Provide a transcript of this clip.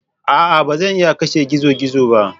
A'a! Ba zan iya kashe gizo-gizo ba.